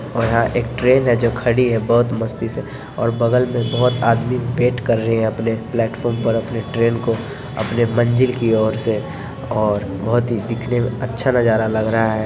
और यहाँ एक ट्रेन है जो खड़ी है बहुत मस्ती से और बगल में बहुत आदमी वेट कर रहें हैं अपने प्लेटफॉर्म पर अपने ट्रेन को अपने मंजिल की और से और बहुत ही दिखने में अच्छा नजारा लग रहा है।